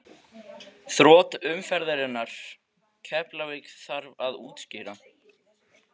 Þrot umferðarinnar: Keflavík Þarf að útskýra?